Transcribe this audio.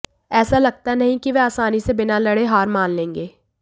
ऐसा लगता नहीं कि वह आसानी से बिना लड़े हार मान लेंगे